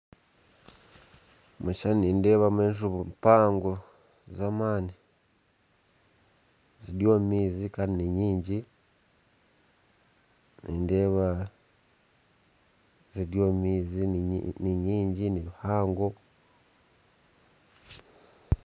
Omukishishani nindeebamu enjubu mpango zamaani ziri omumaizi ninyingi kandi nibihango